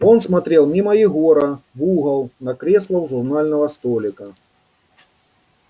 он смотрел мимо егора в угол на кресло у журнального столика